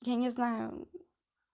я не знаю